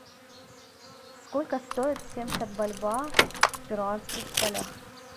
сколько стоит семьдесят бальбоа в перуанских солях